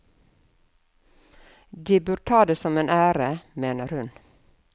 De bør ta det som en ære, mener hun.